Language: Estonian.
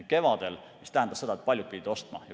See tähendas seda, et paljud pidid ostma.